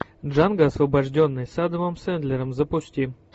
джанго освобожденный с адамом сэндлером запусти